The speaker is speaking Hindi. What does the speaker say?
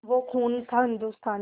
वो खून था हिंदुस्तानी